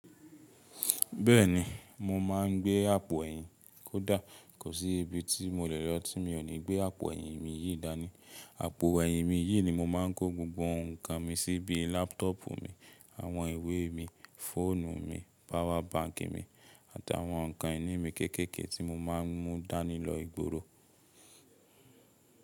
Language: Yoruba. Bẹ́ẹ̀ni, mo máa ń gbé àpọ̀ ẹyin. Kò dà, kò sí ibi tí mo lè lọ tí mi ò ní gbé àpò ẹyin mi yìí dání. Àpò ẹyin mi yìí ni mo máa ń kó gbogbo ǹkan mi sí, bií lápọ́tọ̀pù mi, àwọn ìwé mi, fóònu mi, power bank mi àti àwọn nǹkan ìní mi kékéke ti mo máa ń mú dání lọ ìgboro.